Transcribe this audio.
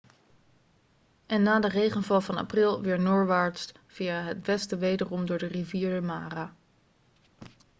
en na de regenval van april weer noordwaarts via het westen wederom door de rivier de mara